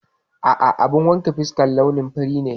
A'a, abun wanke fuskar launin fari ne.